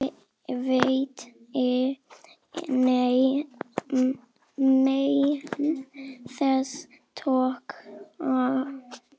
Viti menn, þetta tókst.